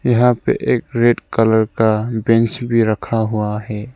यहां पे एक रेड कलर का बेंच भी रखा हुआ है।